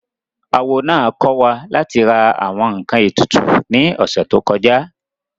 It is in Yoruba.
Awo náà kọ́ wa láti ra àwọn ǹkan ètùtù ní ọ̀sẹ̀ tó kọjá